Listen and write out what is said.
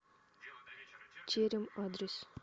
терем адрес